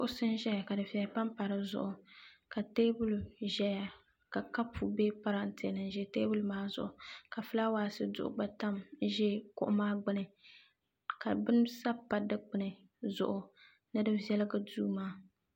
Kuɣusi n zaya ka dufeya pampa dizuɣu ka teebuli zaya ka kapu be parante ni ʒɛ teebuli maa zuɣu ka filaawaasi duɣu gba tamya n ʒɛ kuɣu maa gbini ka bini sabi pa dikpini zuɣu ni di viɛligi duu maa.